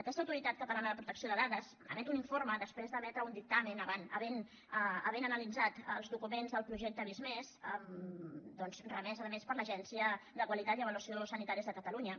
aquesta autoritat catalana de protecció de dades emet un informe després d’emetre un dictamen havent analitzat els documents del projecte visc+ doncs remès a més per l’agència de qualitat i avaluació sanitàries de catalunya